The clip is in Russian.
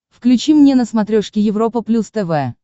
включи мне на смотрешке европа плюс тв